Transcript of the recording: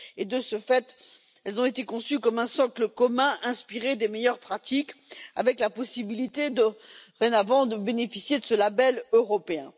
De ce fait, elles ont été conçues comme un socle commun inspiré des meilleures pratiques avec la possibilité, dorénavant, de bénéficier de ce label européen.